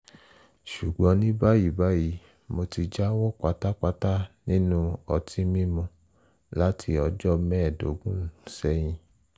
ṣùgbọ́n ní báyìí báyìí mo ti jáwọ́ pátápátá nínú ọtí mímu láti ọjọ́ mẹ́ẹ̀ẹ́dógún sẹ́yìn